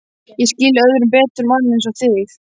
Ég skil öðrum betur mann einsog þig.